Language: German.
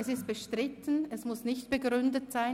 Es ist bestritten, es muss nicht begründet sein.